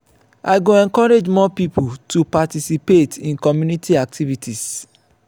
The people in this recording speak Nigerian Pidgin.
i go encourage more pipo to participate in community activities.